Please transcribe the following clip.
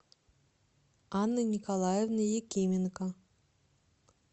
анны николаевны якименко